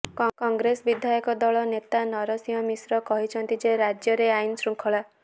କଂଗ୍ରେସ ବିଧାୟକ ଦଳ ନେତା ନରସିଂହ ମିଶ୍ର କହିଛନ୍ତି ଯେ ରାଜ୍ୟରେ ଆଇନ ଶୃଙ୍ଖଳା